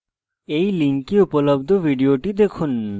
এই link উপলব্ধ video দেখুন